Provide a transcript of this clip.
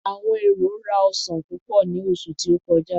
Àwọn èrò rá ọsan púpò ní oṣù tí ó kọjá.